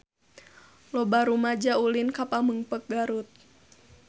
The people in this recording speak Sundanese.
Loba rumaja ulin ka Pamengpeuk Garut